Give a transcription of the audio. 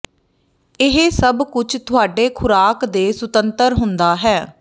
ਇਹ ਸਭ ਕੁਝ ਤੁਹਾਡੇ ਖੁਰਾਕ ਦੇ ਸੁਤੰਤਰ ਹੁੰਦਾ ਹੈ